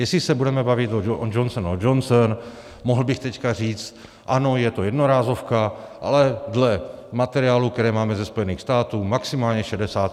Jestli se budeme bavit o Johnson & Johnson, mohl bych teď říct: Ano, je to jednorázovka, ale dle materiálu, který máme ze Spojených států, maximálně 66% účinnost.